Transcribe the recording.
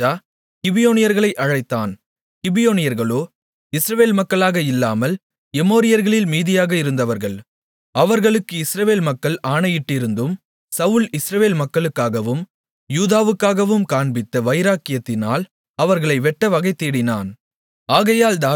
அப்பொழுது ராஜா கிபியோனியர்களை அழைத்தான் கிபியோனியர்களோ இஸ்ரவேல் மக்களாக இல்லாமல் எமோரியர்களில் மீதியாக இருந்தவர்கள் அவர்களுக்கு இஸ்ரவேல் மக்கள் ஆணையிட்டிருந்தும் சவுல் இஸ்ரவேல் மக்களுக்காகவும் யூதாவுக்காகவும் காண்பித்த வைராக்கியத்தினால் அவர்களை வெட்ட வகைதேடினான்